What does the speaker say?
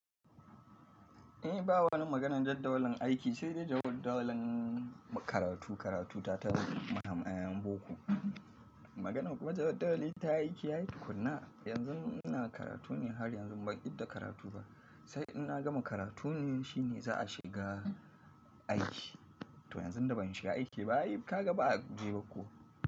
Eh, ba wani maganan jadawalin aiki sai da jadawalin karatu. Karatu ta ta maha ɗayan boko. Maganan kuma jadawalin ta aiki yayi tukuna. Yanzun ina karatu ne har yanzu ban idda karatu ba. Sai in na gama karatu ne shine za a shiga aiki. To yanzu da ban shiga aiki ba, kaga ba a ji ba ko.